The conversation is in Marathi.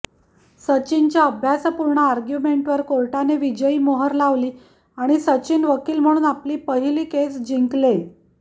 सचिनच्या अभ्यासपूर्ण आर्ग्युमेन्टवर कोर्टाने विजयी मोहर लावली आणि सचिन वकील म्हणून आपली पहिली केस जिंकले